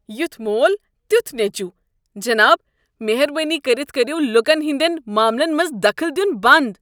یُتھ مول تیُتھ نیچُو ۔ جِناب مہربٲنی كٔرِتھ كرٔرو لُكہٕ ہندین معاملن منٛز دخٕل دیُن بنٛد۔